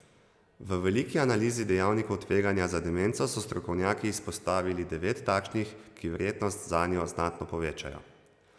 V veliki analizi dejavnikov tveganja za demenco so strokovnjaki izpostavili devet takšnih, ki verjetnost zanjo znatno povečajo.